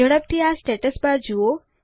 ઝડપથી આ status bar જુઓ